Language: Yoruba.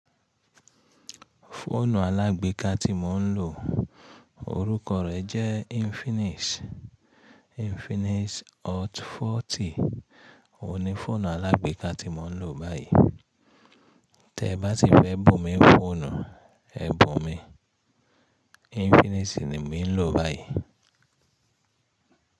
Fóònù alágbéka tí mò ń lò, orúkọ rẹ̀ jẹ́ Infinix, Infinix Hot 40. Óhun ni fọ́ònù alágbéka tí mò ń lò báyìí. Tẹ bá ti fẹ́ bù mí fọ́ònù, ẹ bù mi. Infinix ni emi ń lò báyìí.